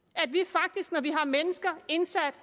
og at vi har mennesker indsat